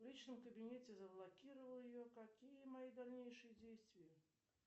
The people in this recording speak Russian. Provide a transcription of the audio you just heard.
в личном кабинете заблокировал ее какие мои дальнейшие действия